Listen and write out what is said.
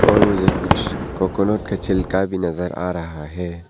और मुझे कुछ कोकोनट के छिलका भी नजर आ रहा है।